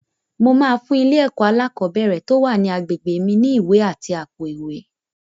Mo máa fún ilé-ẹ̀kọ́ alákọ̀ọ́ bẹ̀rẹ̀ tó wà ní agbègbè mi ní ìwé àti àpò-ìwé.